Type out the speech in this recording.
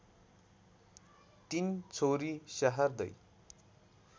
तीन छोरी स्याहार्दै